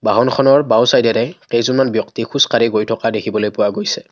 টাউনখনৰ বাওঁচাইডেৰে কেইজনমান ব্যক্তি খোজকাঢ়ি গৈ থকা দেখিবলৈ পোৱা গৈছে।